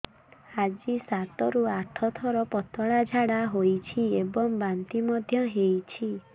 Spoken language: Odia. ଆଜି ସାତରୁ ଆଠ ଥର ପତଳା ଝାଡ଼ା ହୋଇଛି ଏବଂ ବାନ୍ତି ମଧ୍ୟ ହେଇଛି